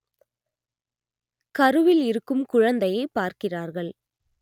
கருவில் இருக்கும் குழந்தையைப் பார்க்கிறார்கள்